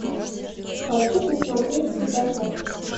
хочу посмотреть светофор